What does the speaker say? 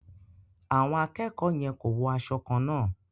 Àwọn akẹ́kọ̀ọ́ yẹn ko wo aṣọ kànna.